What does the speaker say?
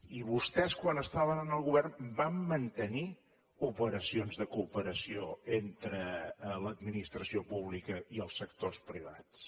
i vostès quan estaven en el govern van mantenir operacions de cooperació entre l’administració pública i els sectors privats